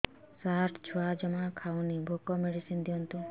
ସାର ଛୁଆ ଜମା ଖାଉନି ଭୋକ ମେଡିସିନ ଦିଅନ୍ତୁ